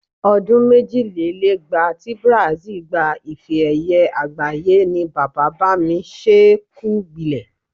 O̩dún méjìlélẹ́gbàá ti Brazil gba ife-è̩ye̩ àgbáyé ni bàbá-bá-mi-s̩ẹ́-ẹ-kù-gbilè̩.